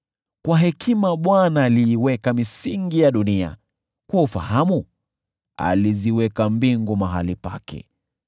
Kwa hekima Bwana aliiweka misingi ya dunia, kwa ufahamu aliziweka mbingu mahali pake;